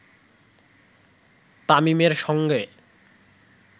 তামিমের সঙ্গে